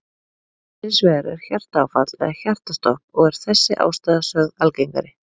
Hins vegar er hjartaáfall eða hjartastopp og er þessi ástæða sögð algengari.